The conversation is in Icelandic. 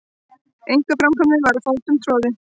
Einkaframtakið var fótum troðið.